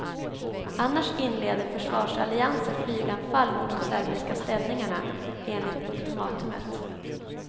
Annars inleder försvarsalliansen flyganfall mot de serbiska ställningarna, enligt ultimatumet.